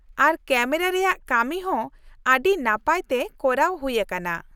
ᱟᱨ camera ᱨᱮᱭᱟᱜ ᱠᱟᱹᱢᱤ ᱦᱚᱸ ᱟᱹᱰᱤ ᱱᱟᱯᱟᱭ ᱛᱮ ᱠᱚᱨᱟᱣ ᱦᱩᱭ ᱟᱠᱟᱱᱟ ᱾